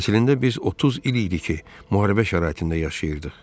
Əslində biz 30 il idi ki, müharibə şəraitində yaşayırdıq.